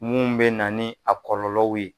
Mun bɛna ni a kɔlɔlɔw ye